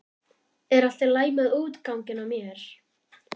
Er allt í lagi með útganginn á mér?